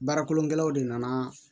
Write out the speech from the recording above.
Baara kolongɛlɛw de nana